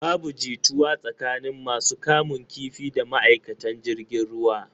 Babu jituwa tsakanin masu kamun kifi da ma'aikatan jirgin ruwan.